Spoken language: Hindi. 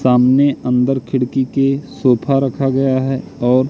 सामने अंदर खिड़की के सोफा रखा गया है ओर--